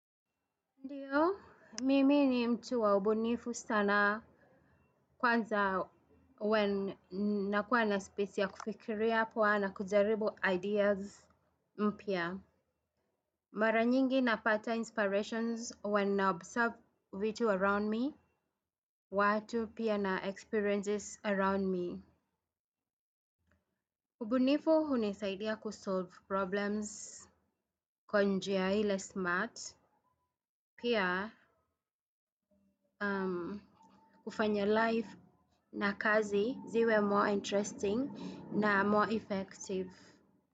Ndiyo, mimi ni mtu wa ubunifu sana kwanza when nakuwa na space ya kufikiria poa na kujaribu ideas mpia. Mara nyingi napata inspirations when I observe vitu around me, watu pia na experiences around me. Ubunifu huni saidia kusolve problems, kwa njia ile smart. Pia ufanya life na kazi ziwe more interesting na more effective.